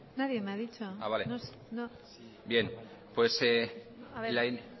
nadie me ha dicho nada nadie